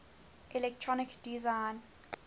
electronic design